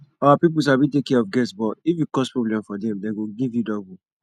our people sabi take care of guest but if you cause problem for dem dem go give you double